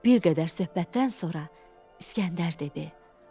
Bir qədər söhbətdən sonra İskəndər dedi: